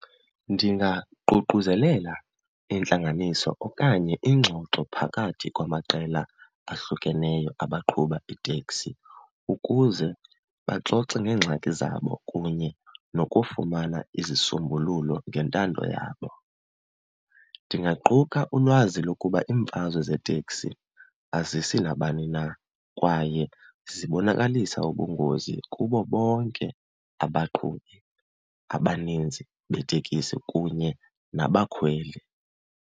Ndingaququzela intlanganiso okanye ingxoxo phakathi kwamaqela ahlukeneyo abaqhuba iiteksi, ukuze baxoxe ngeengxaki zabo kunye nokufumana izisombululo ngentando yabo. Ndingaquka ulwazi lokuba iimfazwe zeeteksi azisi nabani na kwaye zibonakalisa ubungozi kubo bonke abaqhubi abaninzi beetekisi kunye nabakhweli.